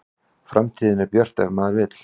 Framtíðin er björt ef maður vill